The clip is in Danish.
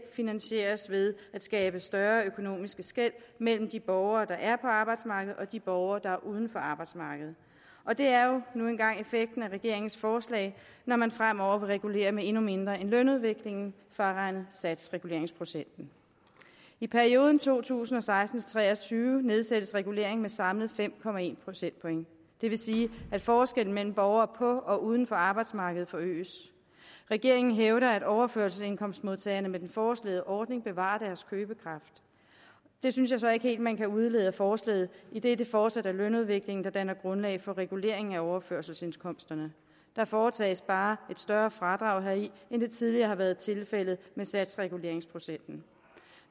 finansieres ved at skabe større økonomiske skel mellem de borgere der er på arbejdsmarkedet og de borgere der er uden for arbejdsmarkedet og det er nu engang effekten af regeringens forslag når man fremover vil regulere med endnu mindre end lønudviklingen fraregnet satsreguleringsprocenten i perioden to tusind og seksten til tre og tyve nedsættes reguleringen med samlet fem procentpoint det vil sige at forskellen mellem borgere på og uden for arbejdsmarkedet forøges regeringen hævder at overførselsindkomstmodtagerne med den foreslåede ordning bevarer deres købekraft det synes jeg så ikke helt man kan udlede af forslaget idet det fortsat er lønudviklingen der danner grundlag for reguleringen af overførselsindkomsterne der foretages bare et større fradrag heri end det tidligere har været tilfældet med satsreguleringsprocenten